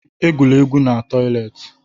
Egwula egwu n'toịletị!